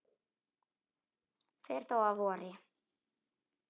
fer þó að vori.